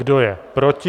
Kdo je proti?